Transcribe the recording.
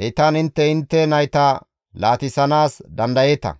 Heytan intte intte nayta laatissanaas dandayeeta;